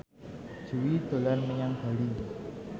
Jui dolan menyang Bali